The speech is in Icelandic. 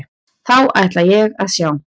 Þá ætla ég að sjá.